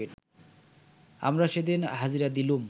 আমরা সেদিন হাজিরা দিলুম